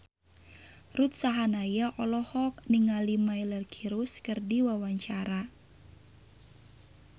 Ruth Sahanaya olohok ningali Miley Cyrus keur diwawancara